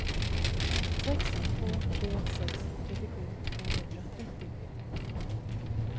sex två tre sex trettiosju tvåhundratrettio